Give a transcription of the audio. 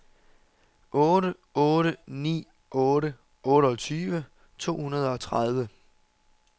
otte otte ni otte otteogtyve to hundrede og tredive